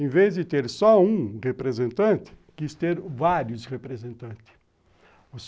Em vez de ter só um representante, quis ter vários representantes.